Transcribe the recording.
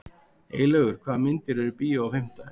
Eylaugur, hvaða myndir eru í bíó á fimmtudaginn?